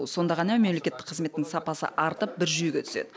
сонда ғана мемлекеттік қызметтің сапасы артып бір жүйеге түседі